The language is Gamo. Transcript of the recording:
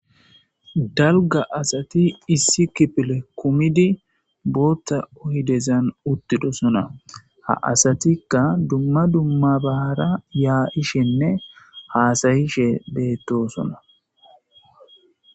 dalga asati issi kipile kumidi bootta ohidezan uttidosona ha asatikka dumma dumma bahara yaayishenne haasayishe beettosona